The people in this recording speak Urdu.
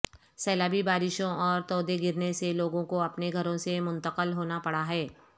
سیلابی بارشوں اور تودے گرنے سے لوگوں کو اپنے گھروں سے منتقل ہونا پڑا ہے